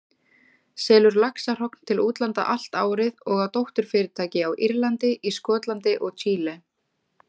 selur laxahrogn til útlanda allt árið og á dótturfyrirtæki á Írlandi, í Skotlandi og Chile.